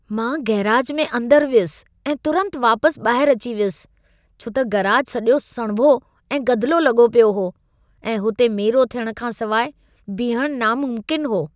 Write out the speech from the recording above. मां गैराज में अंदर वियुसि ऐं तुरत वापसि ॿाहिरि अची वियुसि। छो त गैराज सॼो सणभो ऐं गदिलो लॻो पियो हो ऐं हुते मेरो थियणु खां सवाइ बीहण नामुमकिन हो।